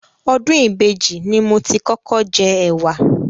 Ọdún ìbejì ni mo ti kọ́kọ́ jẹ ẹ̀wà.